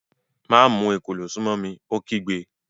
Má mu èkòló sún mọ́ bí, ó kígbe